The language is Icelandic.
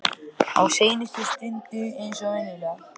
Á seinustu stundu eins og venjulega.